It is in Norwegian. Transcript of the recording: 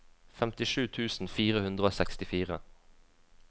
femtisju tusen fire hundre og sekstifire